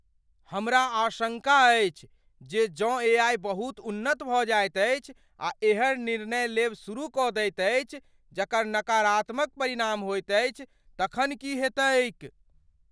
हमरा आशंका अछि जे जँ एआई बहुत उन्नत भऽ जाइत अछि आ एहन निर्णय लेब शुरू कऽ दैत अछि जकर नकारात्मक परिणाम होयत अछि तखन की हेतैक ।